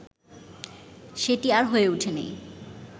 সেটি আর হয়ে উঠেনি